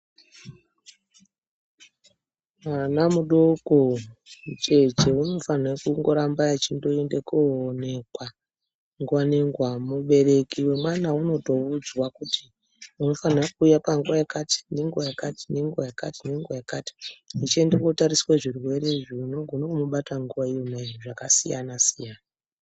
Mwana mudoko, mucheche unofanirwa kungoramba achindoende koonekwa nguwa nenguwa. Mubereki wemwana unotoudzwa kuti unofanirwa kuuya panguwa yakati, nenguwa yakati, nenguwa yakati, nenguwa yakati echinde kootariswe zvirwere zvinokona kumubata nenguwa imwe zvakasiyana siyana.